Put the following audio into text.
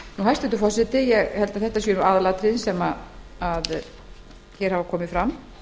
hæstvirtur forseti ég tel að þetta séu aðalatriðin sem hér hafa komið fram